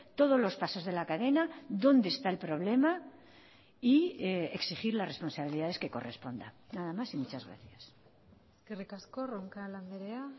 todos los pasos de la cadena dónde está el problema y exigir las responsabilidades que correspondan nada más y muchas gracias eskerrik asko roncal andrea